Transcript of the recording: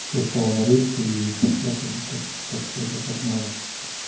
всё стало на рельсы и пошло как бы как как это как надо